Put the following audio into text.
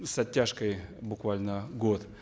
с оттяжкой буквально год